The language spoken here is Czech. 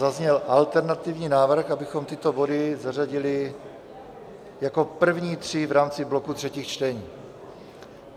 Zazněl alternativní návrh, abychom tyto body zařadili jako první tři v rámci bloku třetích čtení.